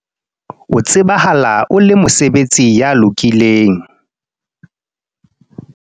o tsebahala o le mosebeletsi ya lokileng